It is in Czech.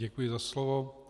Děkuji za slovo.